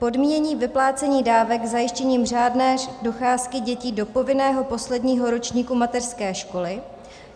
Podmínění vyplácení dávek zajištěním řádné docházky dětí do povinného posledního ročníku mateřské školy.